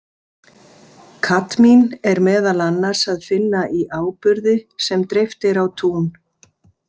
Kadmín er meðal annars að finna í áburði sem dreift er á tún.